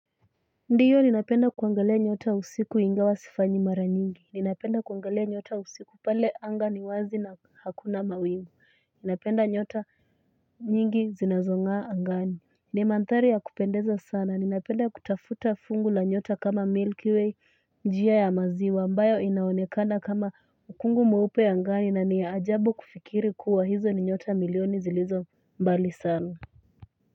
Ndiyo ninapenda kuangalia nyota usiku ingawa sifanyi mara nyingi, ninapenda kuangalia nyota usiku pale anga niwazi na hakuna mawingu, napenda nyota nyingi zinazong'a angani. Nimanthari ya kupendeza sana, ninapenda kutafuta fungu la nyota kama Milky Way, njia ya maziwa. Ambayo inaonekana kama ukungu mweupe anga, na ni ajabu kufikiri kuwa hizo ni nyota milioni zilizo mbali sana.